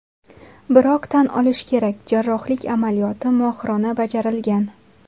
Biroq tan olish kerak, jarrohlik amaliyoti mohirona bajarilgan.